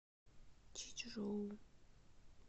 чичжоу